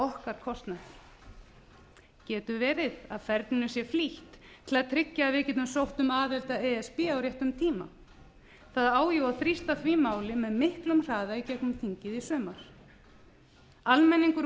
okkar kostnað getur verið að ferlinu sé flýtt til að tryggja að við getum sótt um aðild að e s b á réttum tíma það á jú að þrýsta því máli með miklum hraða í gegnum þingið í sumar almenningur